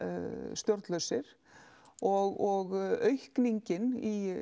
stjórnlausir og aukningin í